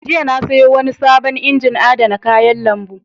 Jiya na sayo wani sabon injin adana kayan lambu.